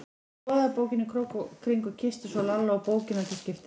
Hún skoðaði bókina í krók og kring og kyssti svo Lalla og bókina til skiptis.